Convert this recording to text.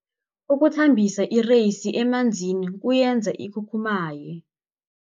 Ukuthambisa ireyisi emanzini kuyenza ikhukhumaye.